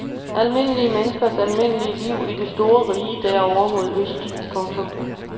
Almindelige menneskers almindelige liv i det store rige derovre mod øst. punktum